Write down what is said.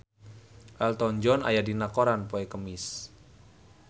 Elton John aya dina koran poe Kemis